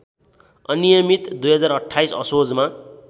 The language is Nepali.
अनियमित २०२८ असोजमा